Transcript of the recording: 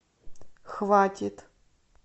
хватит